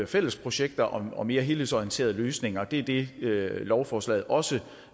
fælles projekter og mere helhedsorienterede løsninger det er det lovforslaget også